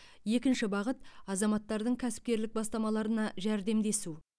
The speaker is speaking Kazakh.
екінші бағыт азаматтардың кәсіпкерлік бастамаларына жәрдемдесу